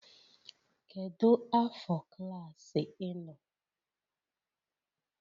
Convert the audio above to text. Kedu afọ klaasị ị nọ?